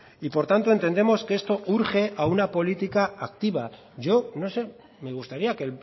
y por tanto entendemos que esto urge a una política activa yo no sé me gustaría que